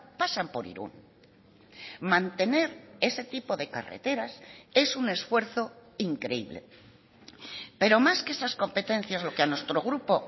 pasan por irun mantener ese tipo de carretas es un esfuerzo increíble pero más que esas competencias lo que a nuestro grupo